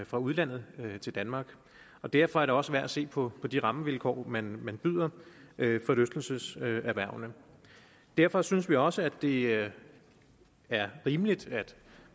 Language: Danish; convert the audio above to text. fra udlandet til danmark og derfor er det også værd at se på de rammevilkår man byder forlystelseserhvervene derfor synes vi også det er rimeligt at